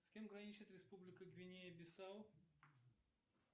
с кем граничит республика гвинея бисау